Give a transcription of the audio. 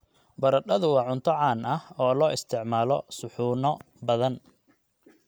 Baradhadu waa cunto caan ah oo loo isticmaalo suxuuno badan.